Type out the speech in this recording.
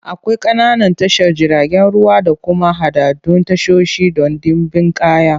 Akwai ƙananan tashar jiragen ruwa da kuma haɗaɗɗun tashoshi don ɗimbin kaya.